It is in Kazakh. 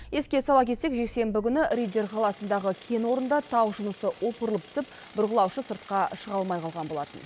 еске сала кетсек жексенбі күні риддер қаласындағы кен орнында тау жынысы опырылып түсіп бұрғылаушы сыртқа шыға алмай қалған болатын